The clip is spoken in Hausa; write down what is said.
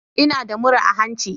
Ina da murra a hanci.